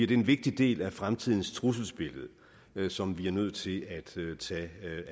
det en vigtig del af fremtidens trusselsbillede som vi er nødt til at tage